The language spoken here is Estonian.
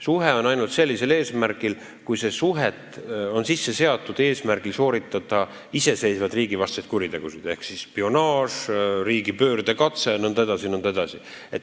Jutt on ainult sellisest suhtest, mis on sisse seatud eesmärgiga sooritada iseseisvaid riigivastaseid kuritegusid ehk siis spionaaži, riigipöördekatseid jne, jne.